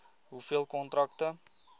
hoeveel kontrakte